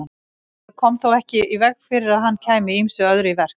Það kom þó ekki í veg fyrir að hann kæmi ýmsu öðru í verk.